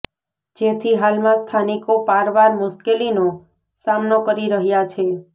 જેથી હાલમાં સ્થાનિકો પારવાર મુશ્કેલીનો સામનો કરી રહ્યાં છે